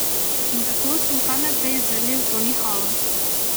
In tako smo kar naprej zrli v to nihalo.